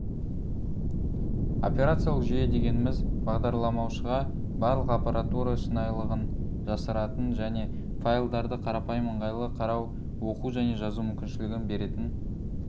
операциялық жүйе дегеніміз бағдарламалаушыға барлық аппаратура шынайылығын жасыратын және файлдарды қарапайым ыңғайлы қарау оқу және жазу мүмкіншілігін беретін